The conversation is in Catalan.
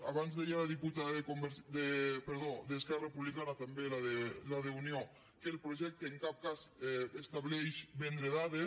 abans deia la diputada d’esquerra republicana també la d’unió que el projecte en cap cas estableix vendre dades